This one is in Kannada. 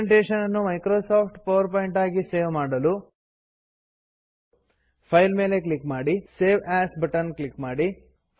ಪ್ರೆಸೆಂಟೇಷನ್ ನ್ನು ಮೈಕ್ರೋಸಾಫ್ಟ್ ಪವರ್ ಪಾಯಿಂಟ್ ಆಗಿ ಸೇವ್ ಮಾಡಲು ಫೈಲ್ ಮೇಲೆ ಕ್ಲಿಕ್ ಮಾಡಿ ಸೇವ್ ಎಎಸ್ ಕ್ಲಿಕ್ ಮಾಡಿ